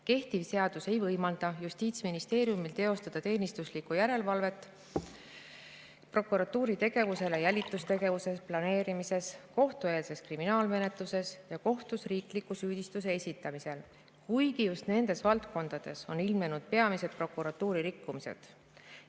Kehtiv seadus ei võimalda Justiitsministeeriumil teostada teenistuslikku järelevalvet prokuratuuri tegevuse üle jälitustegevuse planeerimises, kohtueelses kriminaalmenetluses ja kohtus riikliku süüdistuse esitamisel, kuigi just nendes valdkondades on ilmnenud peamised prokuratuuri rikkumised.